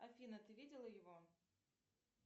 афина ты видела его